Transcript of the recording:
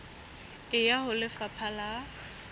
e ya ho lefapha la